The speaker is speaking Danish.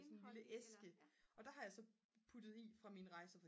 sådan en lille æske og der har jeg så puttet i fra mine rejser